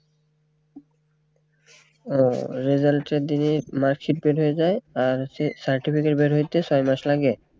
ওহ result এর দিনেই mark sheet বের হয়ে যায় আর হচ্ছে certificate বের হইতে ছয় মাস লাগে